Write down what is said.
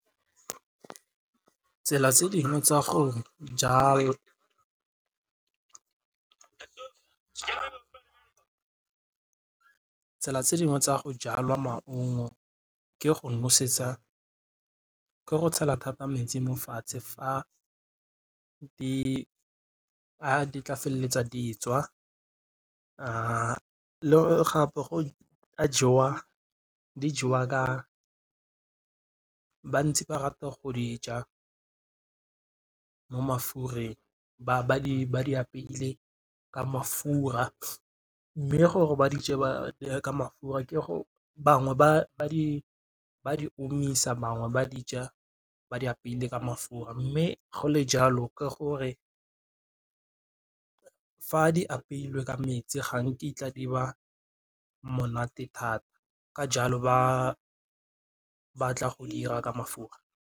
Tsela tse dingwe tsa tsela tse dingwe tsa go jalwa maungo ke go nosetsa, ke go tshela thata metsi mo fatshe fa di a di tla feleletsa di tswa le gape di jewa ka ba ntse ba rata go di ja mo mafureng ba di apeile ka mafura, mme gore ba ba di je jaaka mafura ke go bangwe ba di omisa bangwe ba di ja ba di apeile ka mafura, mme go le jalo ke gore fa di apeilwe ka metsi ga nkitla di ba monate thata ka jalo ba batla go dira ka mafura.